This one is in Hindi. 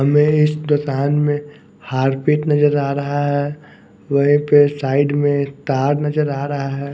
हमें इस दोकान में हार्पिक नजर आ रहा है वहीं पे साइड में एक तार नजर आ रहा है।